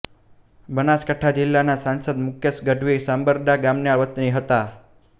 બનાસકાંઠા જિલ્લાનાં સાંસદ મુકેશ ગઢવી સાંબરડા ગામના વતની હતા